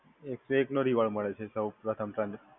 એક સો એક નો રિવોર્ડ મળે છે સઉ પ્રથમ ટ્રાન્સઝેકશન